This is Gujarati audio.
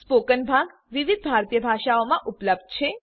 સ્પોકન ભાગ વિવિધ ભારતીય ભાષાઓમાં ઉપલબ્ધ થશે